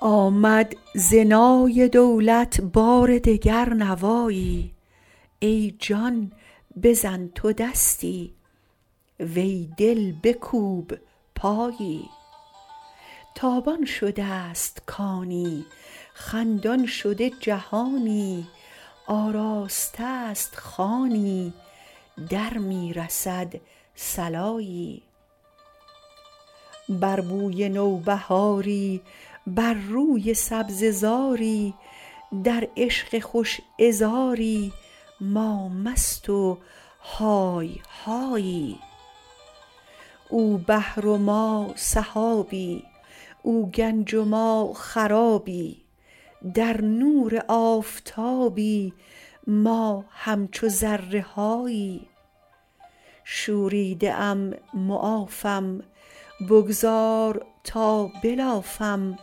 آمد ز نای دولت بار دگر نوایی ای جان بزن تو دستی وی دل بکوب پایی تابان شده ست کانی خندان شده جهانی آراسته ست خوانی در می رسد صلایی بر بوی نوبهاری بر روی سبزه زاری در عشق خوش عذاری ما مست و های هایی او بحر و ما سحابی او گنج و ما خرابی در نور آفتابی ما همچو ذره هایی شوریده ام معافم بگذار تا بلافم